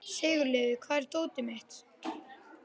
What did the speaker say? Sigurliði, hvar er dótið mitt?